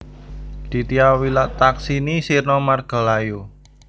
Ditya Wilathaksini sirna margalayu